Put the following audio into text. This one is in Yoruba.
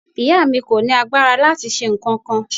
Ìyá mi kò ní agbára láti ṣe nǹkankan.